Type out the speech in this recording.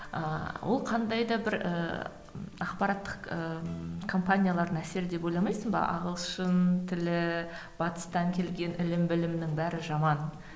ыыы ол қандай да бір ііі ақпараттық ы компаниялардың әсері деп ойламайсың ба ағылшын тілі батыстан келген ілім білімнің бәрі жаман